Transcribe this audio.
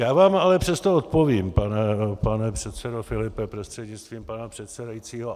Já vám ale přesto odpovím, pane předsedo Filipe prostřednictvím pana předsedajícího.